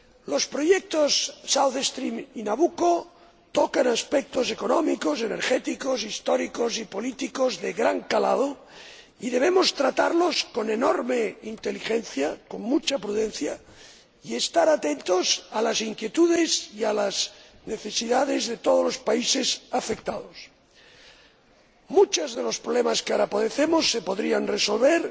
Los proyectos South Stream y Nabucco tocan aspectos económicos, energéticos, históricos y políticos de gran calado, y debemos tratarlos con enorme inteligencia, con mucha prudencia y estar atentos a las inquietudes y a las necesidades de todos los países afectados. Muchos de los problemas que ahora padecemos se podrían resolver